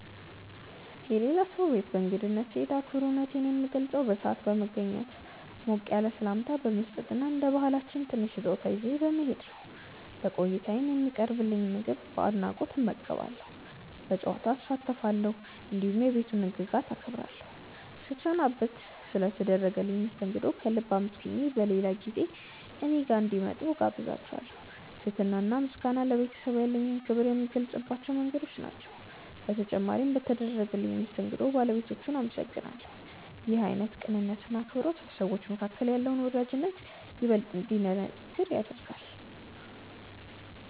የሌላ ሰው ቤት በእንግድነት ስሄድ አክብሮቴን የምገልጸው በሰዓት በመገኘት፣ ሞቅ ያለ ሰላምታ በመስጠት እና እንደ ባህላችን ትንሽ ስጦታ ይዤ በመሄድ ነው። በቆይታዬም የሚቀርብልኝን ምግብ በአድናቆት እመገባለሁ፣ በጨዋታ እሳተፋለሁ፣ እንዲሁም የቤቱን ህግጋት አከብራለሁ። ስሰናበትም ስለ ተደረገልኝ መስተንግዶ ከልብ አመስግኜ በሌላ ጊዜ እኔ ጋር እንዲመጡ እጋብዛቸዋለው። ትህትና እና ምስጋና ለቤተሰቡ ያለኝን ክብር የምገልጽባቸው መንገዶች ናቸው። በተጨማሪም በተደረገልኝ መስተንግዶ ባለቤቶቹን አመሰግናለሁ። ይህ አይነቱ ቅንነት እና አክብሮት በሰዎች መካከል ያለውን ወዳጅነት ይበልጥ እንዲጠነክር ያደርጋል።